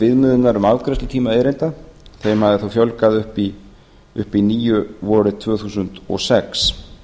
viðmiðunar um afgreiðslutíma erinda þeim hafði þá fjölgað upp í níu vorið tvö þúsund og sex